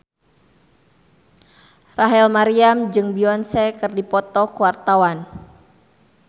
Rachel Maryam jeung Beyonce keur dipoto ku wartawan